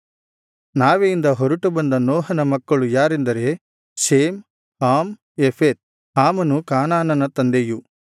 ನಾವೆಯಿಂದ ಹೊರಟುಬಂದ ನೋಹನ ಮಕ್ಕಳು ಯಾರೆಂದರೆ ಶೇಮ್ ಹಾಮ್ ಯೆಫೆತ್ ಹಾಮನು ಕಾನಾನನ ತಂದೆಯು